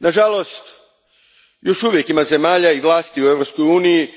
Nažalost, još uvijek ima zemalja i vlasti u Europskoj uniji